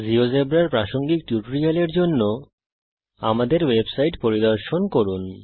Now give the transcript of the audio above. জীয়োজেব্রার উপর প্রাসঙ্গিক টিউটোরিয়াল এর জন্য আমাদের ওয়েবসাইট পরিদর্শন করুন